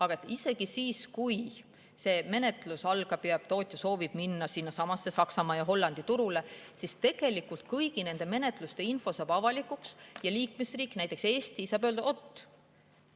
Aga isegi siis, kui see menetlus nüüd algab ja tootja soovib minna sinnasamasse Saksamaa või Hollandi turule, siis kõigi nende menetluste info saab avalikuks ja mõni liikmesriik, näiteks Eesti, saab öelda: "Oot!